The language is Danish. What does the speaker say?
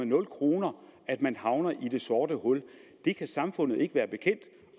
nul kroner man havner i det sorte hul det kan samfundet ikke være bekendt